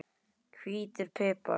Hvítur pipar